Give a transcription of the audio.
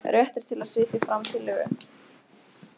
Réttur til að setja fram tillögu.